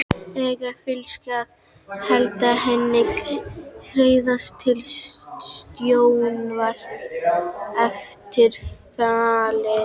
Eiga Fylkismenn að halda Hemma Hreiðars við stjórnvölinn eftir fallið?